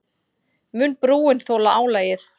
Mun brúin þola álagið?